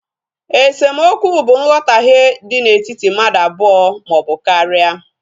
Esemokwu bụ nghotahie dị na etiti mmadụ abụọ maọbụ karia